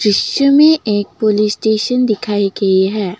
दृश्य में एक पुलिस स्टेशन दिखाई गई है।